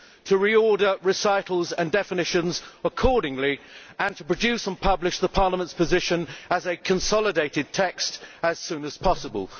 to re order recitals and definitions accordingly and to produce and publish Parliament's position as a consolidated text as soon as possible.